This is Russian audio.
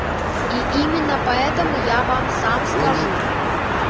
и именно поэтому я вам сам скажу